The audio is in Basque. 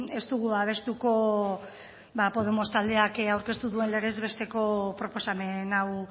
ez dugu babestuko podemos taldeak aurkeztu duen legez besteko proposamen hau